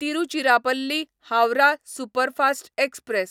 Tiruchirappalli Howrah superfast express